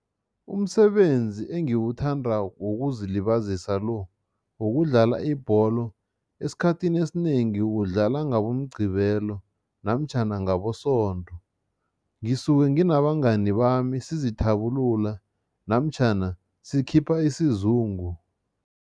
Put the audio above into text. Umsebenzi engiwuthandako wokuzilibazisa lo, wokudlala ibholo, esikhathini esinengi udlala ngaboMqgibelo namtjhana ngaboSondo. Ngisuke nginabangani bami, sizithabulula namtjhana sikhipha isizungu.